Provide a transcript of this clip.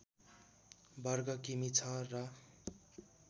वर्ग किमि छ र